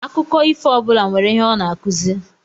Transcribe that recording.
Akụkọ ifo ọbula nwèrè ihe ọ n'akụzi.